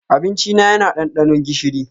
Abincina yana ɗanɗano gishiri.